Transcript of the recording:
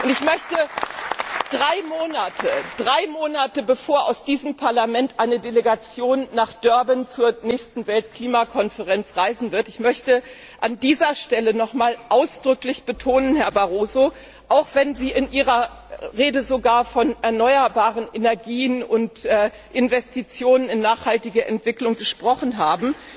Ich möchte drei Monate, bevor aus diesem Parlament eine Delegation nach Durban zur nächsten Weltklimakonferenz reisen wird, an dieser Stelle noch einmal ausdrücklich betonen, Herr Barroso Auch wenn Sie in Ihrer Rede sogar von erneuerbaren Energien und Investitionen in nachhaltige Entwicklung gesprochen haben